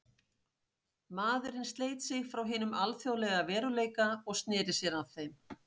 Maðurinn sleit sig frá hinum alþjóðlega veruleika og sneri sér að þeim.